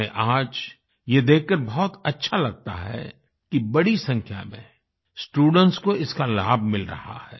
उन्हें आज ये देखकर बहुत अच्छा लगता है कि बड़ी संख्या में स्टूडेंट्स को इसका लाभ मिल रहा है